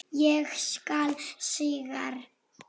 Ég skal sigra!